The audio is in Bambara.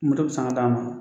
Moto bɛ san ka d'a ma